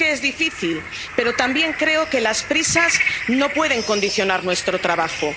Sé que es difícil, pero también creo que las prisas no pueden condicionar nuestro trabajo.